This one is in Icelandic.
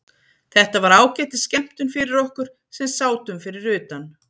Þetta var ágætis skemmtun fyrir okkur sem sátum fyrir utan.